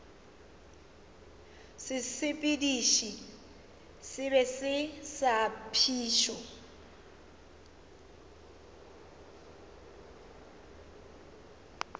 sesepediši se sebe sa phišo